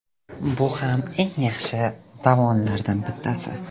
Bu ham eng yaxshi davonlardan bittasi.